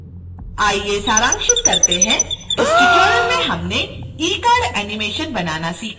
आइए सारांशित करते हैं इस ट्यूटोरियल में हमने ecard एनीमेशन बनाना सीखा